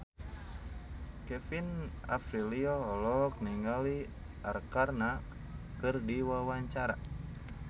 Kevin Aprilio olohok ningali Arkarna keur diwawancara